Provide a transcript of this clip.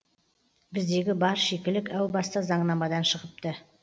біздегі бар шикілік әу баста заңнамадан шығыпты